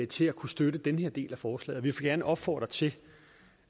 til at kunne støtte den her del af forslaget vi vil gerne opfordre til